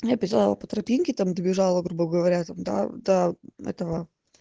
написала по тропинке там добежала грубо говоря там до до этого